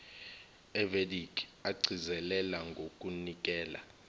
evedic agcizelela ngokunikela